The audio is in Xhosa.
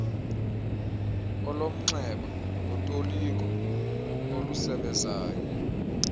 olomnxeba notoliko olusebezayo